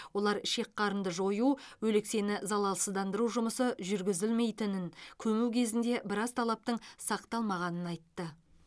олар ішек қарынды жою өлексені залалсыздандыру жұмысы жүргізілмейтінін көму кезінде біраз талаптың сақталмағанын айтты